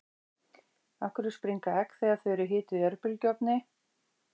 af hverju springa egg þegar þau eru hituð í örbylgjuofni